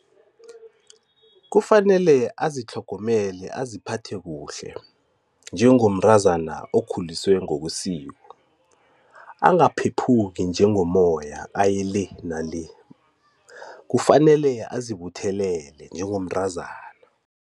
Kufanele azitlhogomele aziphathe kuhle, njengomntazana okhuliswe ngokwesiko. Angaphephuki njengomoya aye le nale, kufanele azibuthelele njengomntazana.